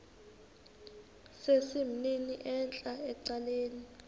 sesimnini entla ecaleni